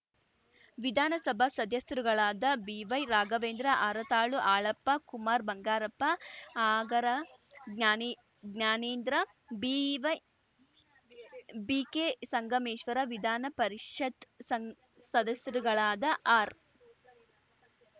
ವಿಧಾನಸಭಾ ಸದಸ್ಯರುಗಳಾದ ಬಿವೈರಾಘವೇಂದ್ರ ಹರತಾಳು ಹಾಲಪ್ಪ ಕುಮಾರ್‌ ಬಂಗಾರಪ್ಪ ಆಗರ ಜ್ಞಾನಿಜ್ಞಾನೇಂದ್ರ ಬಿವೈಬಿಕೆ ಸಂಗಮೇಶ್ವರ ವಿಧಾನ ಪರಿಷತ್‌ ಸಂಗ್ ಸದಸ್ಯರುಗಳಾದ ಆರ್‌